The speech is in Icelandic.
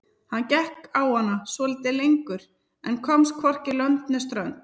Hann gekk á hana svolítið lengur en komst hvorki lönd né strönd.